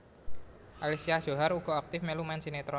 Alicia Djohar uga aktif mèlu main sinetron